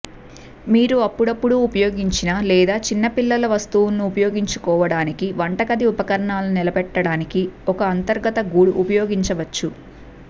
మీరు అప్పుడప్పుడు ఉపయోగించిన లేదా చిన్నపిల్లల వస్తువులని ఉపయోగించుకోవటానికి వంటగది ఉపకరణాలను నిలబెట్టడానికి ఒక అంతర్గత గూడు ఉపయోగించవచ్చు